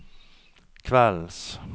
kveldens